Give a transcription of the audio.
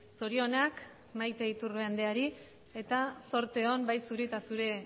zorionak maite iturbe andreari eta zorte on bai zuri eta zure